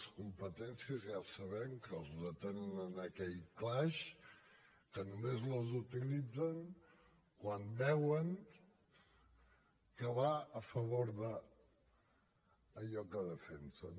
les competències ja sabem que les retenen en aquell calaix que només les utilitzen quan veuen que van a favor d’allò que defensen